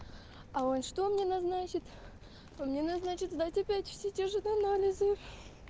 а он что мне назначит он мне назначит сдать опять все те же анализы